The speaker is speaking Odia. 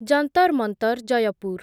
ଜନ୍ତର୍ ମନ୍ତର୍ ଜୟପୁର୍